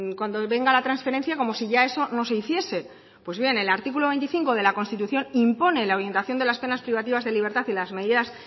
cuando venga la transferencia como si ya eso no se hiciese pues bien el artículo veinticinco de la constitución impone la orientación de las penas privativas de libertad y las medidas